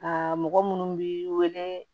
Aa mɔgɔ minnu bi wele